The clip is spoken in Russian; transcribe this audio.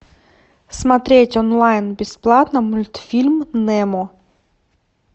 смотреть онлайн бесплатно мультфильм немо